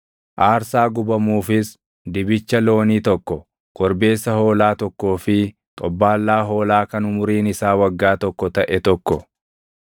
aarsaa gubamuufis dibicha loonii tokko, korbeessa hoolaa tokkoo fi xobbaallaa hoolaa kan umuriin isaa waggaa tokko taʼe tokko,